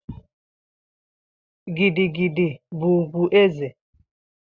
Gigi gidi bụ ugwu eze.